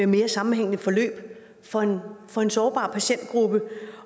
mere sammenhængende forløb for for en sårbar patientgruppe